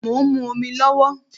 Mo ń mu omi lówó